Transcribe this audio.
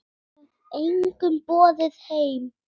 Ég hef engum boðið heim.